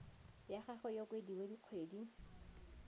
ya gagwe e okediwe dikgwedi